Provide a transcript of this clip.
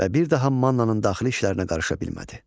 Və bir daha Mannanın daxili işlərinə qarışa bilmədi.